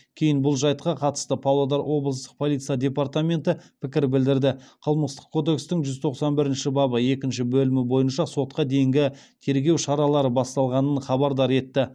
кейін бұл жайтқа қатысты павлодар облыстық полиция департаменті пікір білдірді қылмыстық кодекстің жүз тоқсан бірінші бабы екінші бөлімі бойынша сотқа дейінгі тергеу шаралары басталғанын хабардар етті